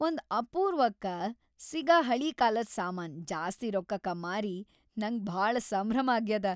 ಒಂದ್‌ ಅಪೂರ್ವಕ್ಕ ಸಿಗ ಹಳೀಕಾಲದ್ ಸಾಮಾನ್‌ ಜಾಸ್ತಿ ರೊಕ್ಕಕ ಮಾರಿ ನಂಗ್ ಭಾಳ ಸಂಭ್ರಮ್ ಆಗ್ಯಾದ.